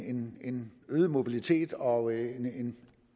en øget mobilitet og en